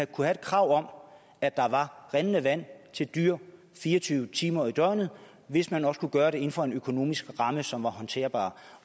kunne have krav om at der var rindende vand til dyr fire og tyve timer i døgnet hvis man også kunne gøre det inden for en økonomisk ramme som var håndterbar